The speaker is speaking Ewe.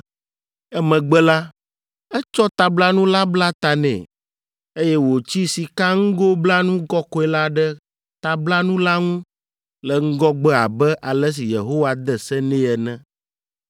Emegbe la, etsɔ tablanu la bla ta nɛ, eye wòtsi sikaŋgoblanu kɔkɔe la ɖe tablanu la ŋu le ŋgɔgbe abe ale si Yehowa de se nɛ ene.